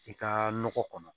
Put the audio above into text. I ka nɔgɔ kɔnɔ